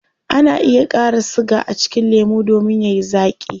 Ana iya kara siga a cikin lemu domin yayi zaaki